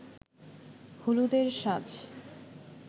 হলুদের সাজ